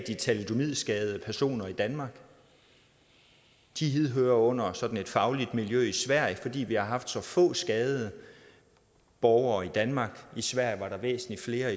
de thalidomidskadede personer i danmark de hører under et sådant fagligt miljø i sverige fordi vi har haft så få skadede borgere i danmark i sverige var der væsentlig flere